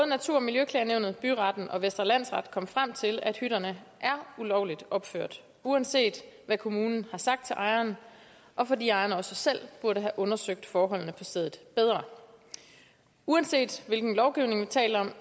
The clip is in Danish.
natur og miljøklagenævnet byretten og vestre landsret kom frem til at hytterne er ulovligt opført uanset hvad kommunen har sagt til ejeren og fordi ejeren også selv burde have undersøgt forholdene på stedet bedre uanset hvilken lovgivning vi taler